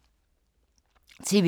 TV 2